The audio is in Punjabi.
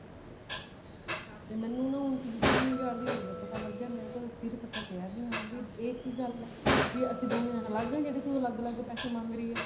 ਤੇ ਮੈਨੂੰ ਨਾ ਹੁਣ ਤਿੰਨ ਚਾਰ ਦਿਨ ਹੋਗੇ ਪਤਾ ਲੱਗਿਆ ਸਿਰ ਫਟਿਆ ਪਿਆ ਵੀ ਹਾਂ ਇਹ ਕੀ ਗੱਲ ਹੈ ਵੀ ਅਸੀਂ ਦੋਵੇਂ ਅੱਲਗ ਹਾਂ ਵੀ ਜਿਹੜਾ ਤੂੰ ਅਲੱਗ ਅਲੱਗ ਪੈਸੇ ਮੰਗ ਰਹੀ ਹੈ